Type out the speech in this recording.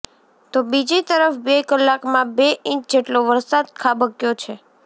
તો બીજી તરફ બે કલાકમાં બે ઇંચ જેટલો વરસાદ ખાબક્યો છે